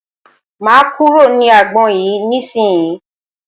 Máa kúrò ní agbọn yìí ní ìsínyì.